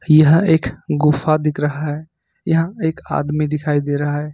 यह एक गुफा दिख रहा है यहां एक आदमी दिखाई दे रहा है।